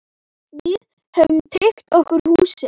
Við höfum tryggt okkur húsið.